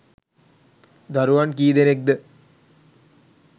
දරුවන් කී දෙනෙක්ද?